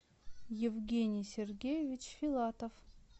евгений сергеевич филатов